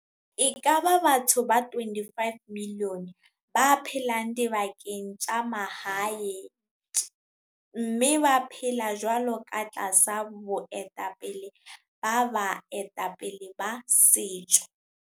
E ka ba batho ba 25 milione ba phelang dibakeng tsa ma haeng mme ba phela jwalo ka tlasa boetapele ba bae tapele ba setso.